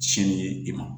Siyɛnni ye i ma